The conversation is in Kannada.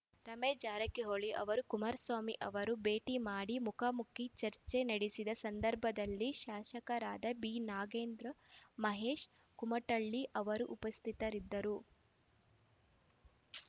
ರಮೇಶ್ ಜಾರಕಿಹೊಳಿ ಅವರನ್ನು ಕುಮಾರಸ್ವಾಮಿ ಅವರು ಭೇಟಿಮಾಡಿ ಮುಖಾಮುಖಿ ಚರ್ಚೆ ನಡೆಸಿದ ಸಂದರ್ಭದಲ್ಲಿ ಶಾಸಕರಾದ ಬಿ ನಾಗೇಂದ್ರ ಮಹೇಶ್ ಕುಮಟಳ್ಳಿ ಅವರೂ ಉಪಸ್ಥಿತರಿದ್ದರು